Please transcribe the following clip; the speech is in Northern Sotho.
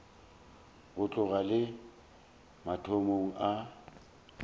go tloga le mathomong a